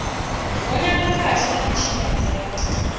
gonya khathihi na mitshinyadzo ya